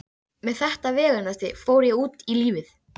Með þetta veganesti fór ég út í lífið.